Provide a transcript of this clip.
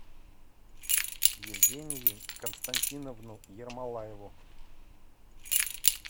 евгению константиновну ермолаеву